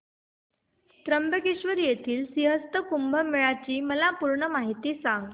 त्र्यंबकेश्वर येथील सिंहस्थ कुंभमेळा ची मला पूर्ण माहिती सांग